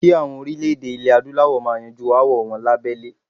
Kí àwọn orílè-èdè ilè Adúláwọ̀ máa yanjú aáwọl wọn lahbẹ́lé.